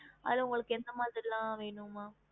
அதல உங்களுக்கு எந்த மார்ல வேணுமா